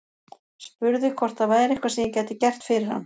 Spurði hvort það væri eitthvað sem ég gæti gert fyrir hann.